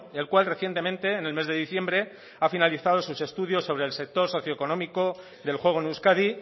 el cual recientemente en el mes de diciembre ha finalizado sus estudios sobre el sector socioeconómico del juego en euskadi